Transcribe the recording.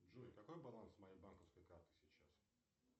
джой какой баланс моей банковской карты сейчас